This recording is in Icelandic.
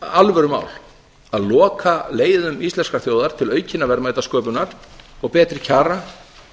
alvörumál að loka leiðum íslenskrar þjóðar til aukinnar verðmætasköpunar og betri kjara